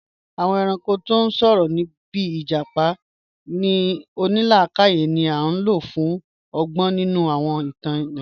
Awọn èrànko tí n sọ̀rọ̀, bíì ijápá onílàkàyè ni a ló fi pín ọ̀gbọn nínu awọn ìtàn Nàìjíríà